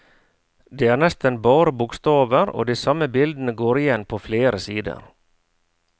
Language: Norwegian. Det er nesten bare bokstaver, og de samme bildene går igjen på flere sider.